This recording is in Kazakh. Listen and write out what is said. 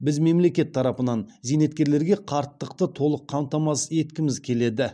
біз мемлекет тарапынан зейнеткерлерге қарттықты толық қамтамасыз еткіміз келеді